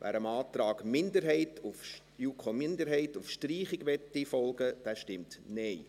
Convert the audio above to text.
wer dem Antrag der JuKo-Minderheit auf Streichung folgen möchte, stimmt Nein.